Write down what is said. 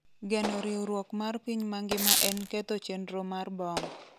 geno riwruok mar piny mangima en ketho chenro mar bom